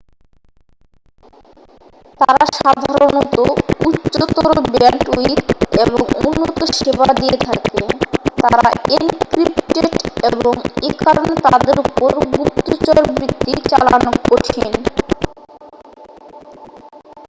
তারা সাধারণত উচ্চতর ব্যান্ডউইডথ এবং উন্নত সেবা দিয়ে থাকে তারা এনক্রিপটেড এবং এ কারণে তাদের উপর গুপ্তচরবৃত্তি চালানো কঠিন